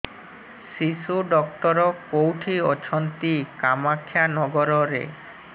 ଶିଶୁ ଡକ୍ଟର କୋଉଠି ଅଛନ୍ତି କାମାକ୍ଷାନଗରରେ